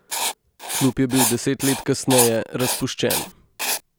Klub je bil deset let kasneje razpuščen.